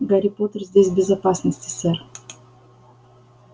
гарри поттер здесь в безопасности сэр